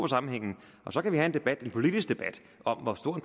sammenhængen så kan vi have en politisk debat om hvor stor